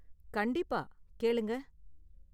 கண்டிப்பா, கேளுங்க.